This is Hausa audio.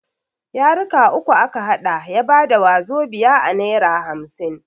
Yaruka uku a ka haɗa ya bada wazobia a nera hamsin.